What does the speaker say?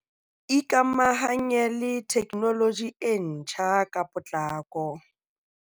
Ikamahanye le theknoloji e ntjha ka potlako.